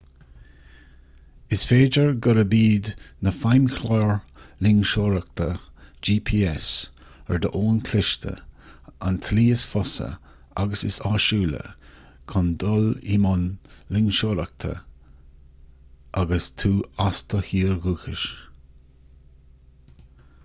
is féidir gurb iad na feidhmchláir loingseoireacht gps ar d'fhón cliste an tslí is fusa agus is áisiúla chun dul i mbun loingseoireachta agus tú as do thír dhúchais